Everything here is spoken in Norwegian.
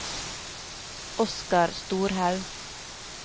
Oskar Storhaug